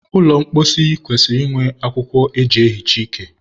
ụlọ mposi kwesịrị inwe akwụkwọ e ji ehicha ike.